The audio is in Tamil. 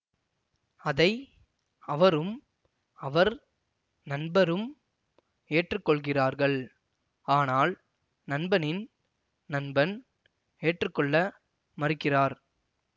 அதை அவரும் அவர் நண்பரும் ஏற்றுக்கொள்கிறார்கள் ஆனால் நண்பனின் நண்பன் ஏற்றுக்கொள்ள மறுக்கிறார்